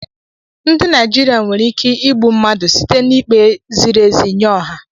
Ndị Naijiria nwere ike igbu mmadụ site n'ikpe ziri ezi nye ọha